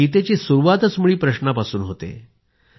प्रश्नापासून सुरुवात होते